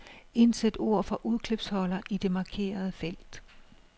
Indsæt ord fra udklipsholder i det markerede felt.